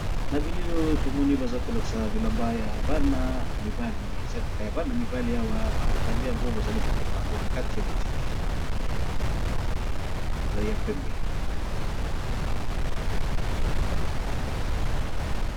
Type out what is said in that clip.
Na bilili oyo tomoni baza kolakisa bilamba ya bana mibali eza kaka ya bana mibali awa batandi yango bazali koteka yango na kati ya botiki ezali ya pembe.